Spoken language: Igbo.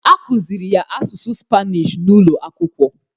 A kụzịrị ya asụsụ spanish n'ụlọakwụkwọ